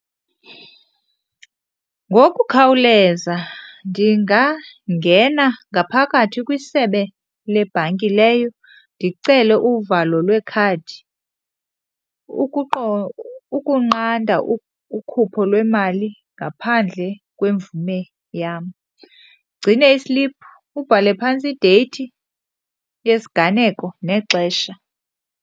Ngokukhawuleza ndingangena ngaphakathi kwisebe lebhanki leyo ndicele uvalo lwekhadi ukunqanda ukhupho lwemali ngaphandle kwemvume yam, ugcine isiliphu, ubhale phantsi ideyithi yesiganeko nexesha.